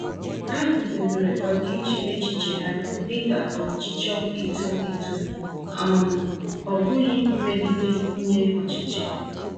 Ha guzobere ọdịiche echiche ha dịka ọchịchọ ito eto, um ọ bụghị mmegide nye ọchịchị.